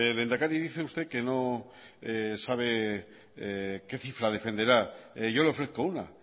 lehendakari dice usted que no sabe qué cifra defenderá yo le ofrezco una